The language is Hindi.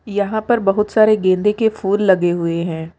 यहां पर बहुत सारे गेंदे के फूल लगे हुए हैं।